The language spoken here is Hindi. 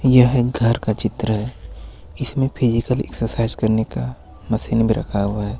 यह घर का चित्र है इसमें फिजिकल एक्सरसाइज करने का मशीन भी रखा हुआ है।